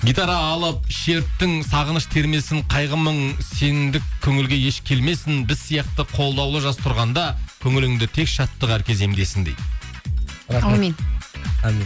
гитара алып шерттің сағыныш термесін қайғы мұң сендік көңілге еш келмесін біз сияқты қолдаулы жас тұрғанда көңіліңде тек шаттық әр кезеңдесін дейді әумин әумин